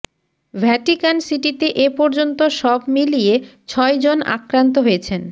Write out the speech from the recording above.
Vatican সিটিতে এ পর্যন্ত সব মিলিয়ে ছয়জন আক্রান্ত হয়েছেন